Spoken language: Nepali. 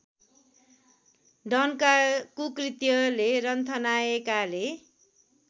डनका कुकृत्यले रन्थनाएकाले